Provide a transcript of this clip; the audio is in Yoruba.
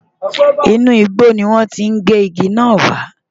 Inú igbó ni wọ́n ti gé igi náà wá.